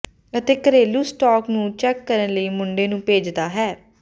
ਅਤੇ ਘਰੇਲੂ ਸਟਾਕ ਨੂੰ ਚੈੱਕ ਕਰਨ ਲਈ ਮੁੰਡੇ ਨੂੰ ਭੇਜਦਾ ਹੈ